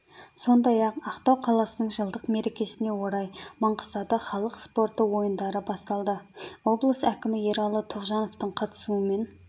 сондай-ақ ақтау қаласының жылдық мерекесіне орай маңғыстауда халық спорты ойындары басталды облыс әкімі ералы тоғжановтың қатысуымен